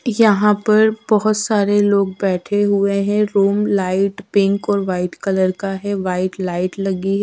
यहां पर बहुत सारे लोग बैठे हुए हैं रूम लाइट पिंक और व्हाइट कलर का है व्हाइट लाइट लगी है।